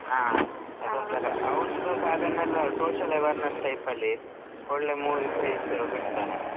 ಹಾ ಅದು ಒಂಥರ ಒಂದ್ ಸಾಧಾರಣ social awareness type ಅಲ್ಲಿ ಒಳ್ಳೆ movies ಬಿಡ್ತಾನೆ.